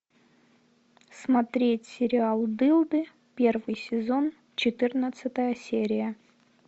смотреть сериал дылды первый сезон четырнадцатая серия